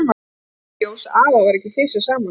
Og nú kom í ljós að afa var ekki fisjað saman.